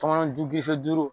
tɔmɔnɔju duuru